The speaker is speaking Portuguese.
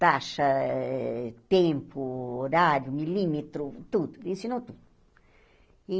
Taxa, eh tempo, horário, milímetro, tudo, ensinou tudo.